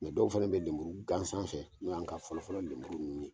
Mɛ dɔw fɛnɛ be lemuru gansan fɛ n'oy' an ka fɔlɔfɔlɔ lemuru ninnu ye